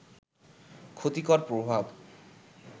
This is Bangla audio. ক্ষতিকর প্রভাব